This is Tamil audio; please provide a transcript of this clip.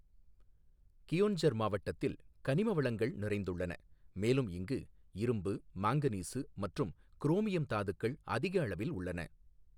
கியோன்ஜர் மாவட்டத்தில் கனிம வளங்கள் நிறைந்துள்ளன, மேலும் இங்கு இரும்பு, மாங்கனீசு மற்றும் குரோமியம் தாதுக்கள் அதிக அளவில் உள்ளன.